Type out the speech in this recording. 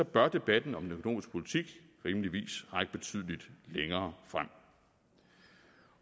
bør debatten om den økonomiske politik rimeligvis række betydelig længere frem